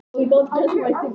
Enn er von.